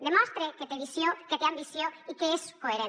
demostre que té visió que té ambició i que és coherent